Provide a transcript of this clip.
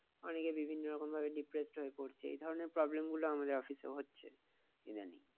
অনেকে বিভিন্ন ভাবে depressed হয়ে পড়ছে। এ ধরণের problem গুলো আমাদের office এ হচ্ছে। ইদানিং